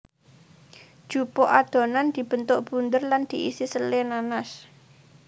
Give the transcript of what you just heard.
Jupuk adonan dibentuk bunder lan diisi sele nanas